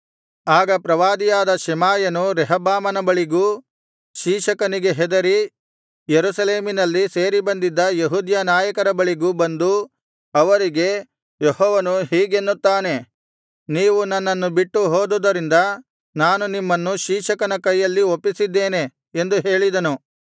ಆಗ ಪ್ರವಾದಿಯಾದ‍ ಶೆಮಾಯನು ರೆಹಬ್ಬಾಮನ ಬಳಿಗೂ ಶೀಶಕನಿಗೆ ಹೆದರಿ ಯೆರೂಸಲೇಮಿನಲ್ಲಿ ಸೇರಿಬಂದಿದ್ದ ಯೆಹೂದ್ಯ ನಾಯಕರ ಬಳಿಗೂ ಬಂದು ಅವರಿಗೆ ಯೆಹೋವನು ಹೀಗೆನ್ನುತ್ತಾನೆ ನೀವು ನನ್ನನ್ನು ಬಿಟ್ಟು ಹೋದುದರಿಂದ ನಾನು ನಿಮ್ಮನ್ನು ಶೀಶಕನ ಕೈಯಲ್ಲಿ ಒಪ್ಪಿಸಿದ್ದೇನೆ ಎಂದು ಹೇಳಿದನು